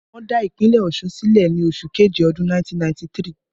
Wọ́n dá ìpínlẹ̀ Ọ̀ṣun sílẹ̀ ni oṣù keje ọdún 1993